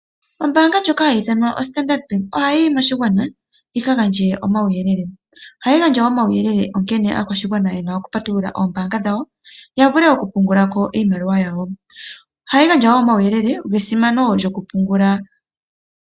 Ombaanga ndjoka hayi ithanwa Standard ohayi yi moshigwana yika gandje omawuyelele. Ohayi gandja omawuyelele onkene aakwashigwana yena okupatulula oombaanga dhawo yavule okupungula ko iimaliwa yawo. Ohayi gandja woo omawuyelele gesimano lyokupungula.